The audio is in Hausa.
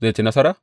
Zai ci nasara?